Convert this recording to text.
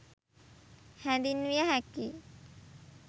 හැඳින්විය හැකියි